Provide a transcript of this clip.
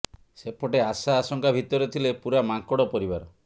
ସେପଟେ ଆଶା ଆଶଙ୍କା ଭିତରେ ଥିଲେ ପୂରା ମାଙ୍କଡ଼ ପରିବାର